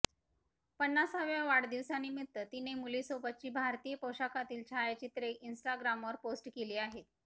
पन्नासाव्या वाढदिवसानिमित्त तिने मुलीसोबतची भारतीय पोशाखातील छायाचित्रे इन्स्टाग्रामवर पोस्ट केली आहेत